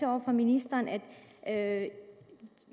over for ministeren at